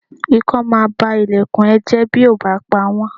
Ikán máa ba ilẹ̀kùn ẹ jẹ́ bí o ò bá pawọ̀n.